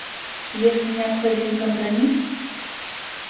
если необходим компромисс